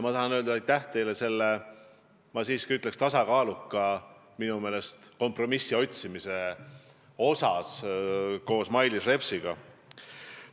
Tahan öelda aitäh teile selle, ma siiski ütleks, tasakaaluka kompromissi otsimise eest koos Mailis Repsiga.